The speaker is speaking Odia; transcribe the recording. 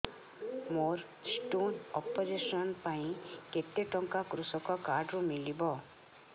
ମୋର ସ୍ଟୋନ୍ ଅପେରସନ ପାଇଁ କେତେ ଟଙ୍କା କୃଷକ କାର୍ଡ ରୁ ମିଳିବ